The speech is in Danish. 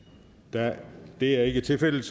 det er ikke tilfældet